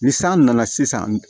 Ni san nana sisan